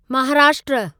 Maharashtra